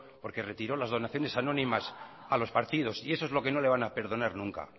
porque retiró las donaciones anónimas a los partidos y eso es lo que no le van a perdonar nunca